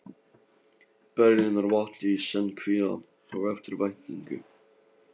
Berlínar vakti í senn kvíða og eftirvæntingu.